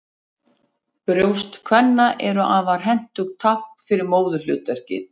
Brjóst kvenna eru afar hentugt tákn fyrir móðurhlutverkið.